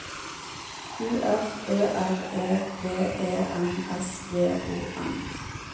U F Ø R E P E N S J O N